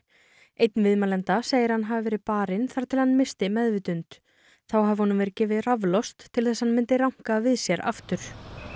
einn viðmælenda segir að hann hafi verið barinn þar til hann missti meðvitund þá hafi honum verið gefið raflost til þess að hann myndi ranka við sér aftur